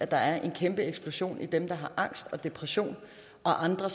der er en kæmpe eksplosion i dem der har angst og depression og andre